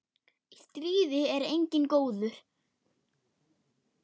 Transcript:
Í stríði er enginn góður.